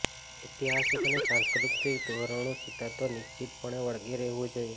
ઐતિહાસિક અને સાંસ્કૃતિક ધોરણો સિદ્ધાંતો નિશ્ચિતપણે વળગી રહેવું જોઇએ